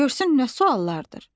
Görsün nə suallardır.